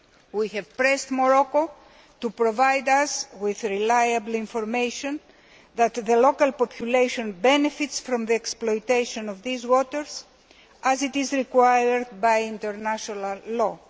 We have pressed Morocco to provide us with reliable information that the local population benefits from the exploitation of these waters, as is required by international law.